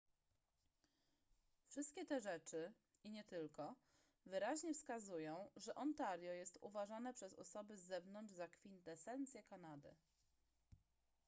wszystkie te rzeczy i nie tylko wyraźnie wskazują że ontario jest uważane przez osoby z zewnątrz za kwintesencję kanady